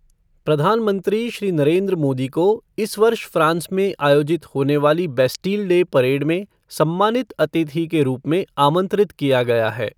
प्रधानमंत्री श्री नरेन्द्र मोदी को इस वर्ष फ्रांस में आयोजित होने वाली बैस्टिल डे परेड में सम्मानित अतिथि के रूप में आमंत्रित किया गया है।